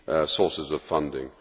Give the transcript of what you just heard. sources of funding.